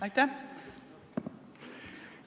Aitäh!